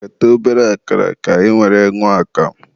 ghete obere akara ka ị were ñụọ akamụ.